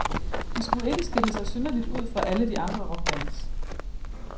De skulle ikke skille sig synderligt ud fra alle de andre rockbands.